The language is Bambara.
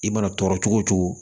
I mana tɔɔrɔ cogo o cogo